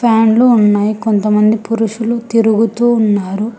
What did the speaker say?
ఫ్యాన్లు ఉన్నాయి కొంతమంది పురుషులు తిరుగుతూ ఉన్నారు